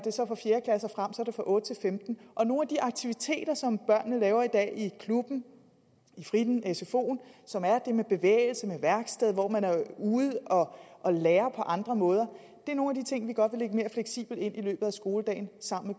det fra otte til femtende og nogle af de aktiviteter som børnene laver i dag i klubben i fritteren i sfoen som er det med bevægelse med værksted hvor man er ude at lære på andre måder er nogle af de ting vi godt vil lægge mere fleksibelt ind i løbet af skoledagen sammen